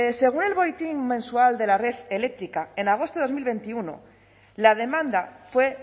según el boletín mensual de la red eléctrica en agosto de dos mil veintiuno la demanda fue